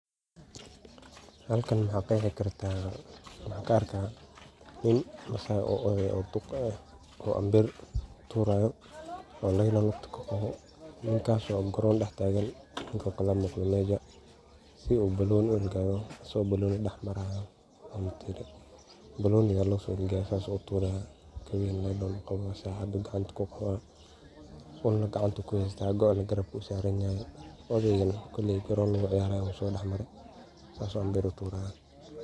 Halkan mxa ka qexii karta. NIn masai ah oo duq ah oo ambir turayo oo leylon lugta ku qawoo oo garonka dex tagan si baloni u xilgadho. Baloniga lugta uga jira ,sacadna gacantu ku qawa sas ayu ugu turaya ulna gacantu kuheysta ,gocna garabku u saran yahay, koley goron lagu ciyarayo u soo dax gale ,sas ayu ambir u turaya.